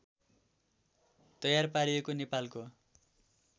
तयार पारिएको नेपालको